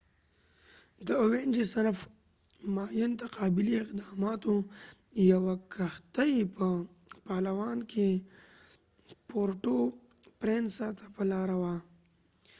د اوینجز صنف ماین تقابلي اقداماتو یوه کښتۍ په پالوان کې پورټو پرینسا ته په لاره وه